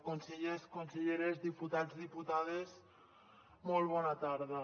consellers conselleres diputats diputades molt bona tarda